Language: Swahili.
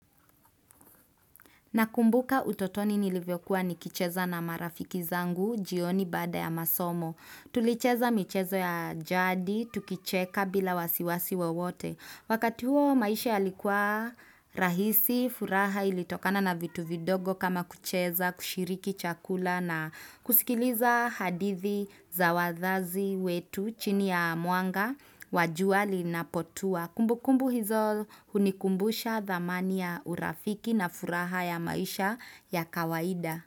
Nakumbuka utotoni nilivyokuwa nikicheza na marafiki zangu jioni baada ya masomo. Tulicheza michezo ya jadi, tukicheka bila wasi wasi wowote. Wakati huo maisha yalikuwa rahisi, furaha ilitokana na vitu vidogo kama kucheza, kushiriki chakula na kusikiliza hadithi za wazazi wetu chini ya mwanga, wa jua linapotua. Kumbukumbu hizo hunikumbusha dhamani ya urafiki na furaha ya maisha ya kawaida.